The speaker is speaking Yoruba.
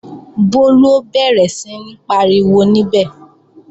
Bólú ó bẹ̀rẹ̀ sí ń pariwo níbẹ̀